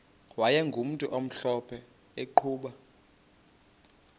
wayegumntu omhlophe eqhuba